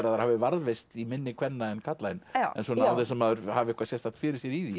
þær hafi varðveist í minni kvenna en karla án þess að maður hafi eitthvað sérstakt fyrir sér í því